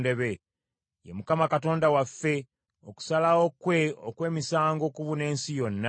Ye Mukama Katonda waffe; okusalawo kwe okw’emisango kubuna ensi yonna.